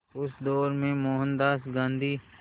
उस दौर में मोहनदास गांधी